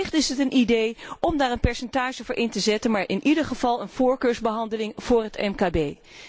En wellicht is het een idee om daar een percentage voor vast te stellen, maar in ieder geval moet er een voorkeursbehandeling voor het mkb komen.